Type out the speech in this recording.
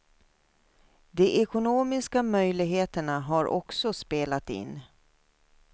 De ekonomiska möjligheterna har också spelat in.